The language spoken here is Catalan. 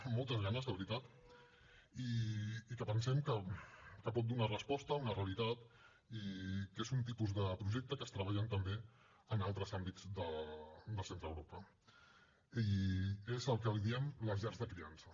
amb moltes ganes de veritat i que pensem que pot donar resposta a una realitat i que és un tipus de projecte que es treballa també en altres àmbits de l’europa central i és el que en diem les llars de criança